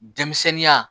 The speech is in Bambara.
Denmisɛnninya